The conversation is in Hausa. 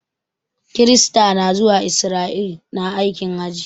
Kirista na zuwa Israel na aikin hajj.